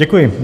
Děkuji.